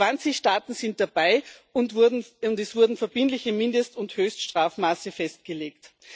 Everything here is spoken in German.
20 Staaten sind dabei, und es wurden verbindliche Mindest und Höchststrafmaße festgelegt.